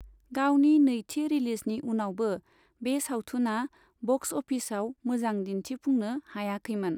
गावनि नैथि रिलिजनि उनावबो बे सावथुना बक्स अफिसाव मोजां दिन्थिफुंनो हायाखैमोन।